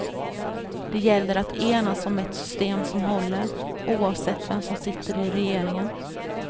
Det gäller att enas om ett system som håller, oavsett vem som sitter i regeringen.